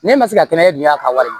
Ne ma se ka kɛnɛ dunya a ka wari